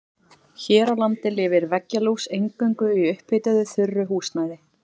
Hér á landi lifir veggjalús eingöngu í upphituðu þurru húsnæði.